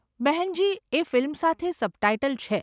બહેનજી, એ ફિલ્મ સાથે સબટાઈટલ છે.